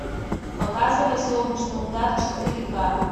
показывай солнечный удар четыре ка